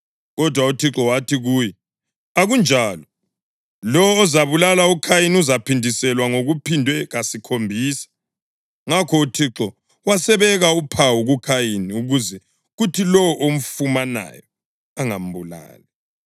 Kodwa uThixo wathi kuye, “Akunjalo; lowo ozabulala uKhayini uzaphindiselwa ngokuphindwe kasikhombisa.” Ngakho uThixo wasebeka uphawu kuKhayini ukuze kuthi lowo omfumanayo angambulali.